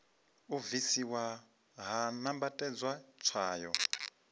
u bvisiwa ha nambatedzwa tswayo